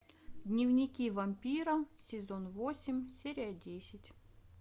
дневники вампира сезон восемь серия десять